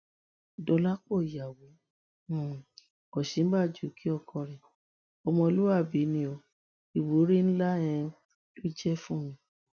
dọlápọ̀ ìyàwó um òsínbàjò kí ọkọ rẹ ọmọlúàbí ni o ìwúrí ńlá um ló jẹ fún mi